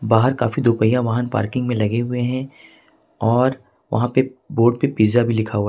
बाहर काफी दो पहिया वाहन पार्किंग में लगे हुए हैं और वहां पे बोर्ड पे पिज्जा भी लिखा हुआ है।